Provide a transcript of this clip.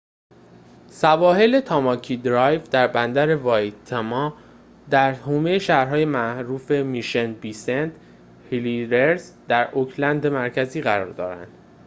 سواحل تاماکی درایو در بندر وایتماتا در حومه شهرهای معروف میشن بی و سنت هلییرز در اوکلند مرکزی قرار دارند